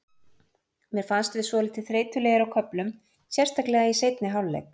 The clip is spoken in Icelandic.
Mér fannst við svolítið þreytulegir á köflum, sérstaklega í seinni hálfleik.